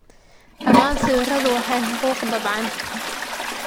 Dhammaan sawiradu waa xuquuq daabacan